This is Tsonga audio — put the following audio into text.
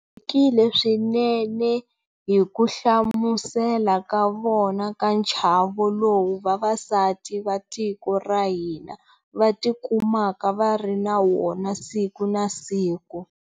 Khumbekile swinene hi ku hlamusela ka vona ka nchavo lowu vavasati va tiko ra hina va tikumaka va ri na wona siku na siku.